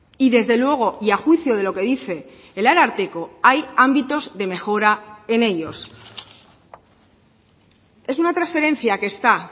y desde luego y a juicio de lo que dice el ararteko hay ámbitos de mejora en ellos es una transferencia que está